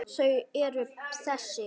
Þau eru þessi: